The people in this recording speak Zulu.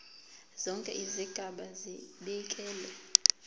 zonke izigaba zibekelwe